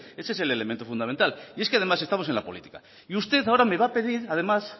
ese es el elemento fundamental y es que además estamos en la política y usted ahora me va a pedir además